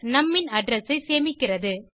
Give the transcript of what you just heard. நும் ன் அட்ரெஸ் ஐ சேமிக்கிறது